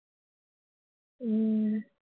உம்